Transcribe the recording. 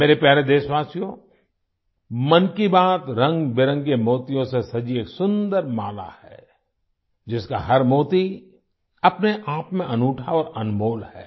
मेरे प्यारे देशवासियो मन की बात रंगबिरंगे मोतियों से सजी एक सुंदर माला है जिसका हर मोती अपने आपमें अनूठा और अनमोल है